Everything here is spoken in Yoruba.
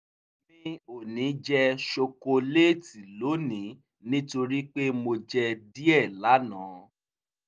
mi ò ní jẹ ṣokoléètì lónìí nítorí pé mo jẹ díẹ̀ lánàá